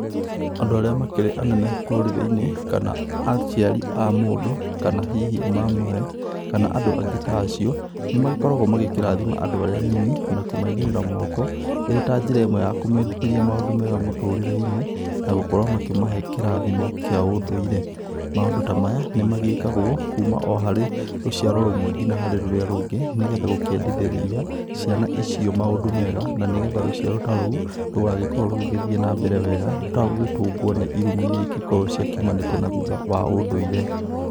Andũ arĩa makĩrĩ anene rũrĩrĩinĩ kana aciari a mũndũ kana hihi mamawe kana andũ angĩ ta acio nĩ magĩkoragwo magĩkĩrathima andũ arĩa anini na kũmaigĩrĩra moko ĩrĩ ta njĩra ĩmwe ya kũmendithĩria maũndũ mega mũtũrĩreinĩ na gũkorwo makĩmahe kĩrathimo kĩa ũndũire. Maũndũ ta maya nĩmagĩkagwo kuma o harĩ rũciaro rũmwe nginya harĩ rũrĩa rũngĩ nĩgetha gũkiendithĩria ciana icio maũndũ mega na nĩgetha rũciaro ta rũu rũgagĩkorwo rũgĩthiĩ na mbere wega rũtagũgĩtũngwo nĩ irumi iria ingĩkorwo ciakiumanĩte na thutha wa ũndũire.